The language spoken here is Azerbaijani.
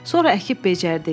Sonra əkib becərdik.